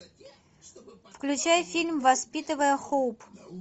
включай фильм воспитывая хоуп